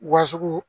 Wa sugu